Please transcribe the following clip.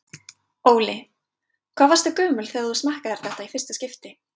Óli: Hvað varstu gömul þegar þú smakkaðir þetta í fyrsta skipti?